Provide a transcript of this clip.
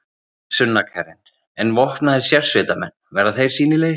Sunna Karen: En vopnaðir sérsveitarmenn, verða þeir sýnilegir?